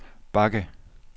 bakke